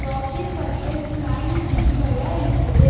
Rakhi surface plains விசிபலா இருக்குது.